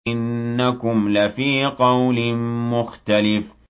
إِنَّكُمْ لَفِي قَوْلٍ مُّخْتَلِفٍ